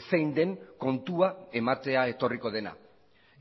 zein den kontua ematea etorriko dena